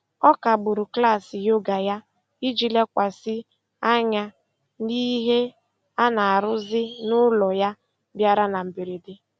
Ọ kagburu klaasị yoga ya iji lekwasị anya n'ihe a na-arụzi n'ụlọ ya bịara na mberede.